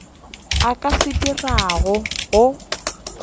a ka se dirago go